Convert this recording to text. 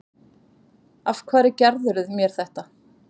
Af hverju gerðirðu mér þetta?